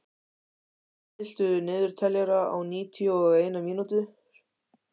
Jesper, stilltu niðurteljara á níutíu og eina mínútur.